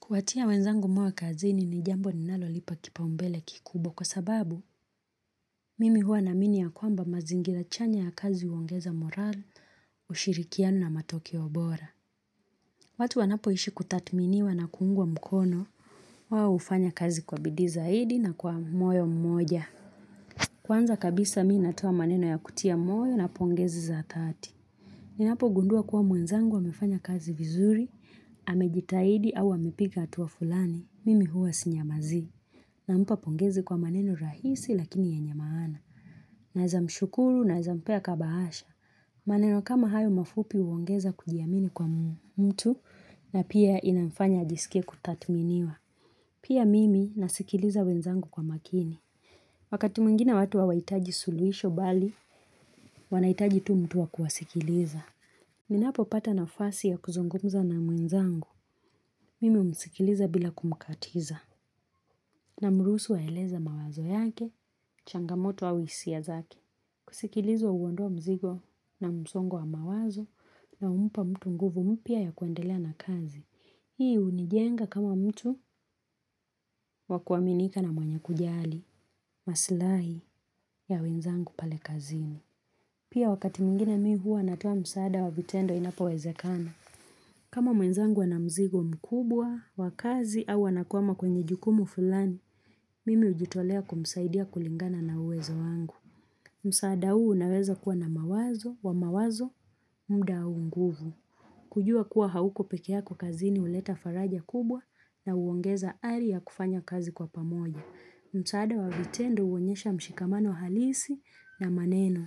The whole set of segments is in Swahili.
Kuwatia wenzangu moyo kazini ni jambo ninalo lipa kipaumbele kikubwa kwa sababu Mimi huwa namini ya kwamba mazingira chanya ya kazi uongeza moral ushirikianuo na matokeo bora. Watu wanapoishi kutatminiwa na kuungwa mkono wao hufanya kazi kwa bidi zahaidi na kwa moyo mmoja. Kwanza kabisa mii natoa maneno ya kutia moyo na poongezi za dhati. Ninapo gundua kuwa mwenzangu wamefanya kazi vizuri, amejitaidi au amepik hatuwa fulani, mimi huwa sinyamazi, na mpa pongezi kwa maneno rahisi lakini yenye maana. Naezamshukuru, naezampea kabahasha. Maneno kama hayo mafupi uongeza kujiamini kwa mtu na pia inafanya ajisike kutathminiwa. Pia mimi nasikiliza mwenzangu kwa makini. Wakati mwingine watu hawaitaji suluhisho bali, wanaitaji tu mtu wa kuwasikiliza. Ninapopata nafasi ya kuzungumza na mwenzangu, mimi umsikiliza bila kumkatiza, namrusu aeleza mawazo yake, changamoto au hisia zake. Kusikilizo uondoa mzigo na mzongo wa mawazo, na umpa mtu nguvu mpia ya kuendelea na kazi. Hii unijenga kama mtu wakuaminika na mwenye kujali, maslahi ya wenzangu pale kazini. Pia wakati mwingine mi huwa natoa msaada wa vitendo inapowezekana. Kama mwenzangu ana mzigo mkubwa, wakazi au anakuama kwenye jukumu fulani, mimi hujitolea kumsaidia kulingana na uwezo wangu. Msaada huu unaweza kuwa na mawazo, wa mawazo, muda au nguvu. Kujua kuwa hauko peke yako kazini huleta faraja kubwa na uongeza ari ya kufanya kazi kwa pamoja. Msaada wa vitendo uonyesha mshikamano halisi na maneno.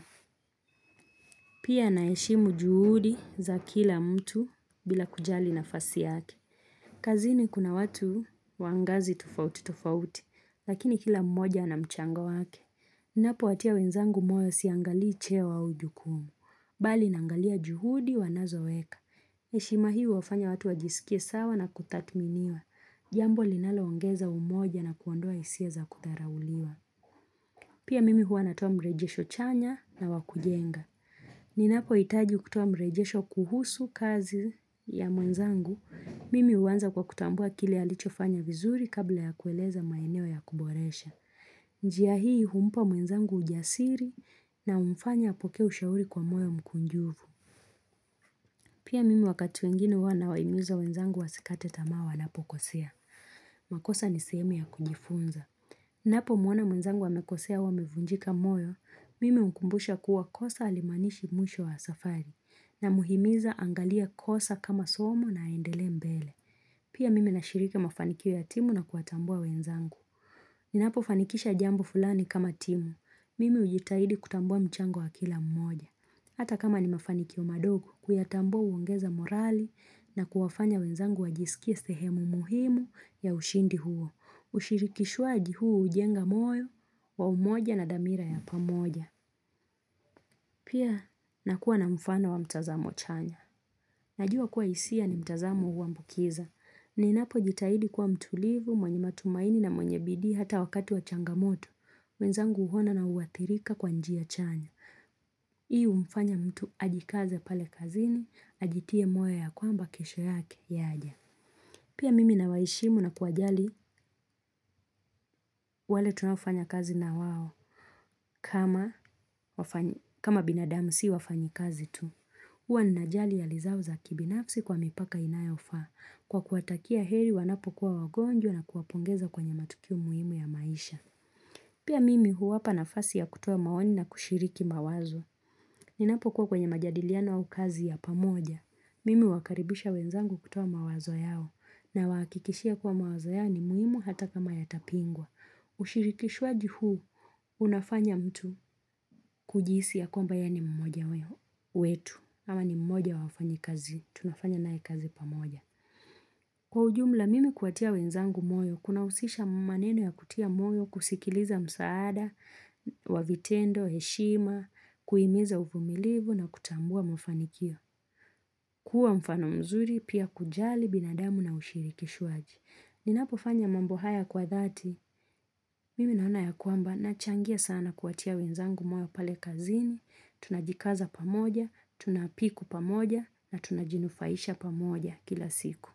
Pia naheshimu juhudi za kila mtu bila kujali nafasi yake. Kazini kuna watu wangazi tofauti tofauti, lakini kila mmoja ana mchango wake. Napowatia wenzangu moyo siangalii cheo au jukumu. Bali nangalia juhudi wanazoweka. Heshima hii wafanya watu wajisikie sawa na kutathminiwa. Jambo linaloongeza umoja na kuondoa hisia za kudharauliwa. Pia mimi huwa natoa mrejesho chanya na wakujenga. Ninapo hitaji kutoa mrejesho kuhusu kazi ya mwenzangu, mimi huanza kwa kutambua kile alichofanya vizuri kabla ya kueleza maeneo ya kuboresha. Njia hii humpa mwenzangu ujasiri na humfanya apokee ushauri kwa moyo mkunjuvu. Pia mimi wakati mwingine huwa nawahimiza wenzangu wasikate tamaa wanapokosea. Makosa niseme ya kunjifunza. Napomwona mwenzangu amekosea au amevunjika moyo, mimi hukumbusha kuwa kosa alimanishi mwisho wa safari namhimiza angalia kosa kama somo na endelee mbele. Pia mimi nashiriki mafanikio ya timu na kutambua wenzangu. Napofanikisha jambo fulani kama timu, mimi hujitahidi kutambua mchango wa kila mmoja. Hata kama ni mafanikio madogo kuyatambua uongeza morali na kuwafanya wenzangu wajisikie sehemu muhimu ya ushindi huo. Ushirikishwaji huu hujenga moyo wa umoja na dhamira ya pamoja Pia nakuwa na mfano wa mtazamo chanya Najua kuwa hisia ni mtazamo huambukiza Ninapojitahidi kuwa mtulivu, mwenye matumaini na mwenye bidi hata wakati wa changamoto wenzangu huona na huwathirika kwa njiya chanya Hii hufanya mtu ajikaze pale kazini, ajitie moyo ya kwamba kesho yake yaja Pia mimi na waeshimu na kuwajali, wale tunaofanya kazi na wao kama binadamu si wafanyikazi tu Hua ninajali hali zao za kibinafsi kwa mipaka inayofaa Kwa kuwatakia heri wanapokuwa wagonjwa na kuwapongeza kwenye matukio muhimu ya maisha Pia mimi huwapa nafasi ya kutuo maoni na kushiriki mawazo Ninapokuwa kwenye majadiliano au kazi ya pamoja Mimi huwakaribisha wenzangu kutoa mawazo yao Nawahakikishia kuwa mawazo yao ni muhimu hata kama yatapingwa Ushirikishwaji huu unafanya mtu kujihisi ya kuamba ye ni mmoja wetu ama ni mmoja wa wafanyikazi tunafanya nae kazi pamoja kwa ujumla mimi kuwatia wenzangu moyo kunahusisha maneno ya kutia moyo kusikiliza msaada Wavitendo, heshima kuhimiza uvumilivu na kutambua mafanikio kuwa mfano mzuri pia kujali binadamu na ushirikishwaji ninapofanya mambo haya kwa dhati Mimi naona ya kuamba na changia sana kuwatia wenzangu moyo pale kazini Tunajikaza pamoja, tunapiku pamoja na tunajinufaisha pamoja kila siku.